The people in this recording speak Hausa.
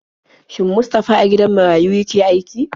Shin Mustafa a gidan marayu yake aiki?